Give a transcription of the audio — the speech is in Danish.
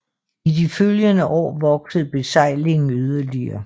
I de følgende år voksede besejlingen yderligere